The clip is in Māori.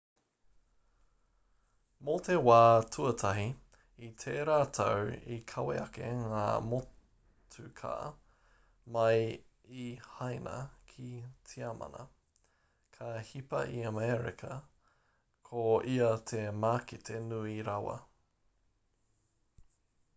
mō te wā tuatahi i tērā tau i kawe ake ngā motuka mai i haina ki tiamana ka hipa i amerika ko ia te mākete nui rawa